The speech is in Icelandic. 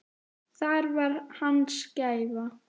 Það var hans gæfa.